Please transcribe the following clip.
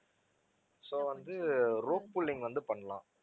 so வந்து rope pulling வந்து பண்ணலாம்